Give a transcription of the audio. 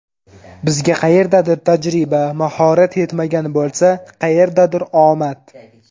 Bizga qayerdadir tajriba, mahorat yetmagan bo‘lsa, qayerdadir omad.